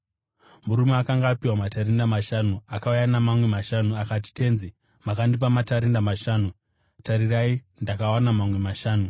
Murume akanga apiwa matarenda mashanu akauya namamwe mashanu, akati, ‘Tenzi, makandipa matarenda mashanu. Tarirai ndakawana mamwe mashanu.’